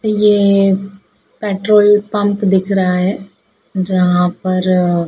यह पेट्रोलपंप दिख रहा है जहां पर--